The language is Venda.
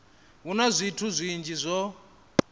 hu na zwithu zwinzhi zwo